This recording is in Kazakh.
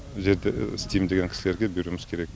жерді істеймін деген кісілерге беруіміз керек